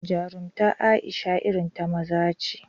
Jarumtar Aisha irin ta maza ce